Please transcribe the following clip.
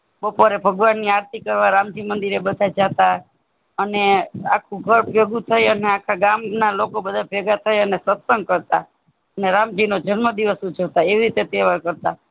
બપોરે ભગવાન ની આરતી કરવા રામજી મંદીરે બધા જાતા અને આખું ઘર ભેગુ થઇ અને આખા ગામના લોકો બધા ભેગા થઈ અને સત્સંગ કરતા ને રામજી નો જન્મ દીવસ ઉજવતા એવી રીતે તહેવાર કરતાં